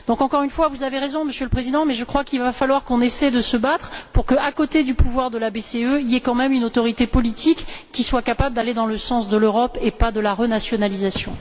Encore une fois, vous avez raison, Monsieur le Président, mais je crois qu'il va falloir essayer de nous battre pour que, à côté du pouvoir de la BCE, il y ait tout de même une autorité politique qui soit capable d'aller dans le sens de l'Europe et non pas de la renationalisation.